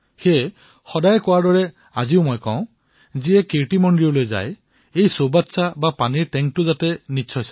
মই সদায়েই কও যে যিয়ে কীৰ্তি মন্দিৰলৈ যায় তেওঁ যাতে সেই পানীৰ টেংকটোও দৰ্শন কৰে